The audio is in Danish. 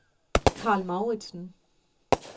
Karl Mouritzen